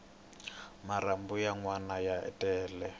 marhambu ya nwana ya tele